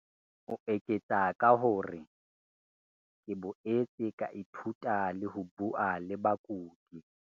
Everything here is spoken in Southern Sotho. O eketsa ka hore, "ke boetse ka ithuta le ho bua le bakudi."